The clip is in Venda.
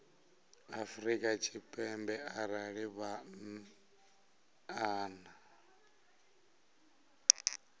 afrika tshipembe arali vha nnḓa